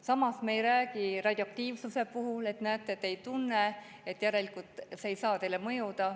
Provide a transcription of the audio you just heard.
Samas ei räägi me radioaktiivsuse puhul, et näete, te seda ei tunne, järelikult ei saa see teile mõjuda.